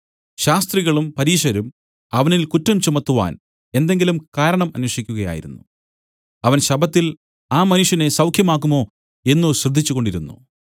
ശാസ്ത്രികളും പരീശരും അവനിൽ കുറ്റം ചുമത്തുവാൻ എന്തെങ്കിലും കാരണം അന്വേഷിക്കുകയായിരുന്നു അവൻ ശബ്ബത്തിൽ ആ മനുഷ്യനെ സൌഖ്യമാക്കുമോ എന്നു ശ്രദ്ധിച്ചുകൊണ്ടിരുന്നു